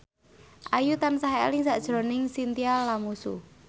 Ayu tansah eling sakjroning Chintya Lamusu